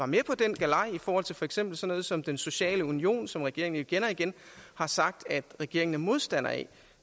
med på den galej i forhold til for eksempel sådan noget som den sociale union som regeringen jo igen og igen har sagt at regeringen er modstander af